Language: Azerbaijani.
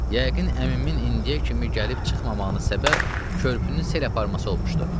Yəqin əmimin indiyə kimi gəlib çıxmamağının səbəb körpünün sel aparması olmuşdu.